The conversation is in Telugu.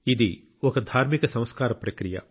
ఇది ఒక ధార్మిక సంస్కార ప్రక్రియ